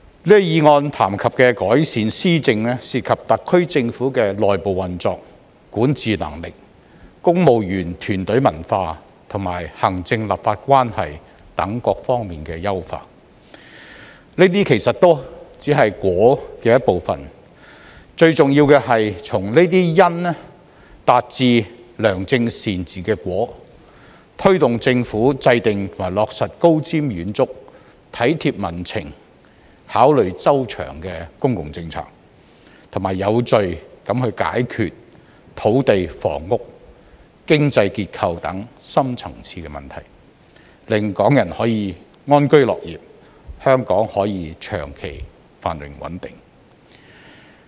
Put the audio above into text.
這項議案談及的改善施政，涉及特區政府的內部運作、管治能力、公務員團隊文化，以及行政立法關係等各方面的優化，這些其實都只是"因"的一部分，最重要的是從這些"因"達致"良政善治"的"果"，推動政府制訂及落實高瞻遠矚、體貼民情、考慮周詳的公共政策，並且有序解決土地、房屋、經濟結構等深層次問題，令港人可以安居樂業，香港可以長期繁榮穩定。